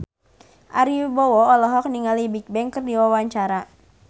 Ari Wibowo olohok ningali Bigbang keur diwawancara